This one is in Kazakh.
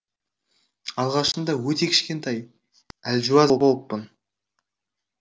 алғашында өте кішкентай әлжуаз болыппын